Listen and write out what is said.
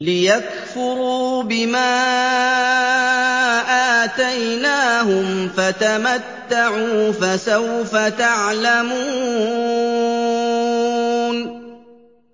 لِيَكْفُرُوا بِمَا آتَيْنَاهُمْ ۚ فَتَمَتَّعُوا ۖ فَسَوْفَ تَعْلَمُونَ